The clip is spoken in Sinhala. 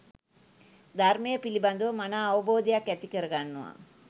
ධර්මය පිළිබඳව මනා අවබෝධයක් ඇති කරගන්නවා.